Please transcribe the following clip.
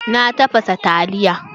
Na tafasa taliya.